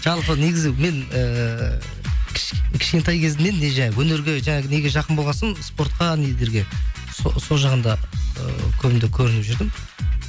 жалпы негізі мен ііі кішкентай кезімнен не өнерге жаңағы неге жақын болған соң спортқа нелерге сол жағында ы көбінде көрініп жүрдім